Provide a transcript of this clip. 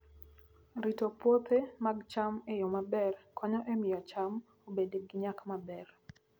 Rito puothe mag cham e yo maber konyo e miyo cham obed gi nyak maber.